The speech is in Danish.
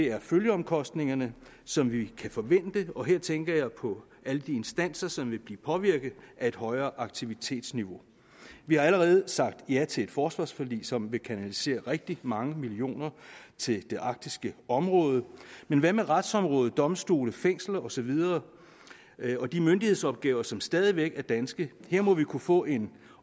er følgeomkostningerne som vi kan forvente og her tænker jeg på alle de instanser som vil blive påvirket af et højere aktivitetsniveau vi har allerede sagt ja til et forsvarsforlig som vil kanalisere rigtig mange millioner til det arktiske område men hvad med retsområdet domstolene fængslerne og så videre og de myndighedsopgaver som stadig væk er danske her må vi kunne få en